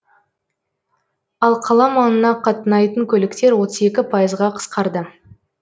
ал қала маңына қатынайтын көліктер отыз екі пайызға қысқарды